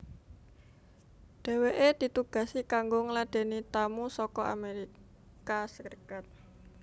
Dheweke ditugasi kanggo ngladeni tamu saka Amerika Serikat